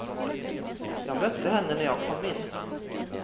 Jag mötte henne när jag kom in.